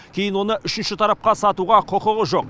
кейін оны үшінші тарапқа сатуға құқығы жоқ